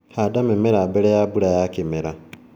Handa mĩmera mbele ya mbura ya kĩmera.